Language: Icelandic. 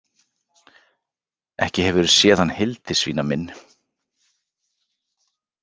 Ekki hefurðu séð hann Hildisvína minn?